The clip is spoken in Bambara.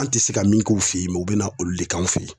An' ti se ka min k'u fe yen u be na olu de k'anw fe ye.